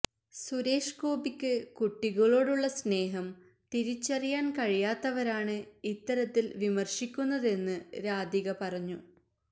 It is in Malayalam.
സുരേഷ് ഗോപിക്ക് കുട്ടികളോടുള്ള സ്നേഹം തിരിച്ചറിയാന് കഴിയാത്തവരാണ് ഇത്തരത്തില് വിമര്ശിക്കുന്നതെന്ന് രാധിക പറഞ്ഞു